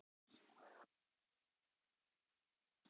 Í hvaða deild er þitt lið á Íslandi?